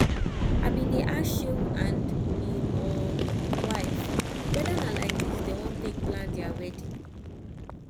i bin dey ask shehu and im um wife whether na like dis dem wan take plan dia wedding